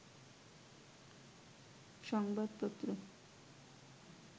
সংবাদপত্র